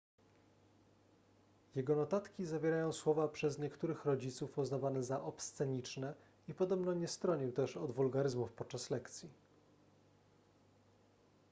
jego notatki zawierają słowa przez niektórych rodziców uznawane za obsceniczne i podobno nie stronił też od wulgaryzmów podczas lekcji